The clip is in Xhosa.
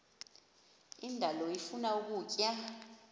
indalo ifuna ukutya